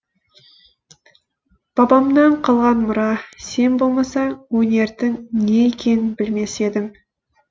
бабамнан қалған мұра сен болмасаң өнердің не екенін білмес едім